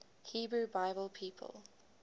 hebrew bible people